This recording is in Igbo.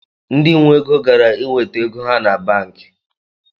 Ndị nwe ego gara inweta ego ha banki